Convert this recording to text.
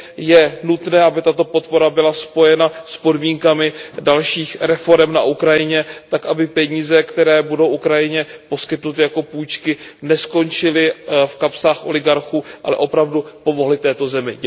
Je nutné, aby tato podpora byla spojena s podmínkami dalších reforem na Ukrajině, tak aby peníze, které budou Ukrajině poskytnuty jako půjčky, neskončily v kapsách oligarchů, ale opravdu pomohly této zemi.